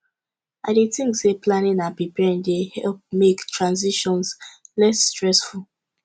i dey think say planning and preparing dey help make transitions less stressful